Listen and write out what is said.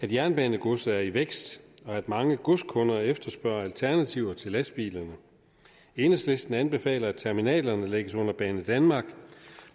af jernbanegodset er i vækst og at mange godskunder efterspørger alternativer til lastbilerne enhedslisten anbefaler at terminalerne lægges under banedanmark